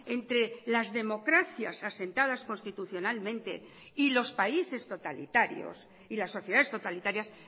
entre las democracias asentadas constitucionalmente y los países totalitarios y las sociedades totalitarias